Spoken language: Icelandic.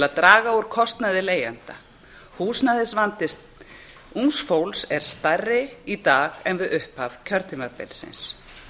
að draga úr kostnaði leigjenda húsnæðisvandi ungs fólks er stærri í dag en við upphaf kjörtímabilsins